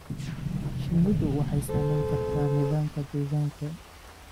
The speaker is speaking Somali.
Shinnidu waxay saamayn kartaa nidaamka deegaanka.